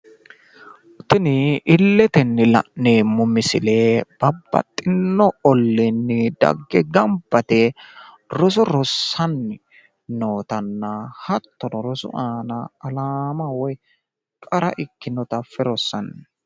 Tini illetenni la'nememo misile babbaxitino olliinni dagge gamba yite roso rossanni nootanna hattono rosu aana alaama woy qara ikkinota affe rossanno